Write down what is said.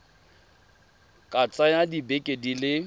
ka tsaya dibeke di le